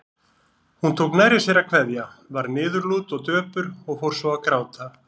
Hún tók nærri sér að kveðja, varð niðurlút og döpur og fór svo að gráta.